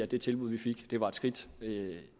det tilbud vi fik var et skridt